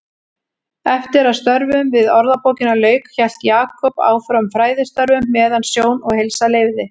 Eftir að störfum við Orðabókina lauk hélt Jakob áfram fræðistörfum meðan sjón og heilsa leyfði.